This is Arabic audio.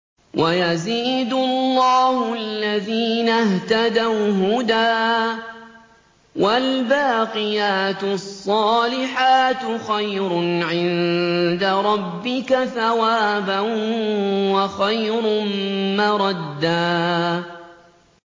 وَيَزِيدُ اللَّهُ الَّذِينَ اهْتَدَوْا هُدًى ۗ وَالْبَاقِيَاتُ الصَّالِحَاتُ خَيْرٌ عِندَ رَبِّكَ ثَوَابًا وَخَيْرٌ مَّرَدًّا